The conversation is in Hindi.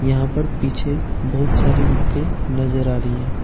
यहां पर पीछे बहुत सारी बुके नजर आ रही हैं।